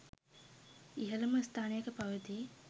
ඉහළම ස්ථානයක පවතී.